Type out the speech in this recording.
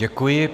Děkuji.